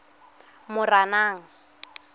moranang